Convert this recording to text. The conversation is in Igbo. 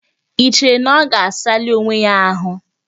I cheere na ọ ga-asali onwe ya ahụ?